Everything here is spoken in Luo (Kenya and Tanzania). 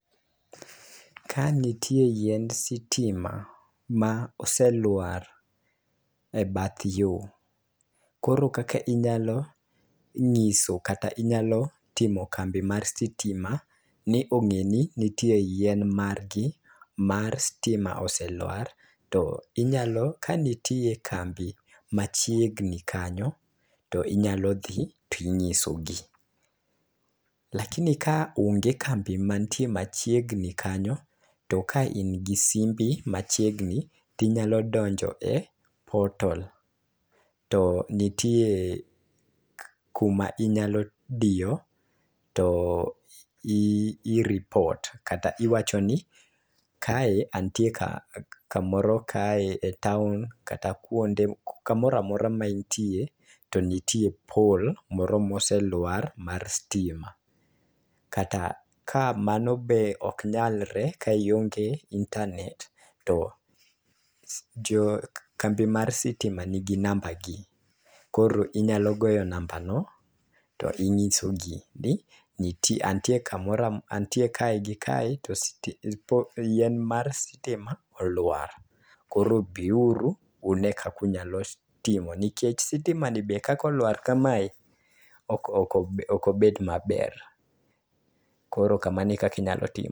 Ka nitie yiend sitima ma oselwar e bath yoo. Koro kaka inyalo ng'iso kata inyalo timo kambi mar sitima ni ong'e ni nitie yien margi mar stima oselwar to inyalo ka nitie kambi machiegni kanyo to inyalo dhi tinyiso gi . Lakini ka onge kambi mantie machiegni kanyo to ka in gi simbi machiegni tinyalo donjo e portal to nitie kuma inyalo diyo to i i report kata iwacho ni kae antie ka kamoro kae e taon kata kuonde kamoramora ma intie to nitie pol moselwar mar stima .Kata ka mano be ok nyalre ka ionge internet to jo kambi mar sitima nigi namba gi koro inyalo goyo namba no to inyiso gi ni ntie antie kae gi kae to yien mar sitima olwar koro biuru une kakunyalo timo nikech sitima ni be kako lwar kamae ok obe ok obet maber .Koro kamano e kaki nyalo timo.